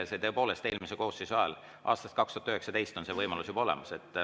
Tõepoolest, eelmise koosseisu ajast, aastast 2019 on see võimalus juba olemas.